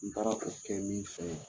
N taara o kɛ min fɛ ye